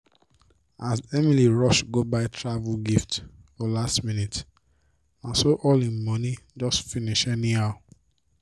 as emily rush go buy travel gift for last minute na so all im money just finish anyhow.